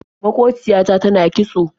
Maƙociya ta tana kitso.